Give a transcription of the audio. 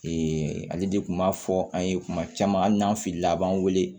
ale de kun b'a fɔ an ye kuma caman hali n'an filila a b'an wele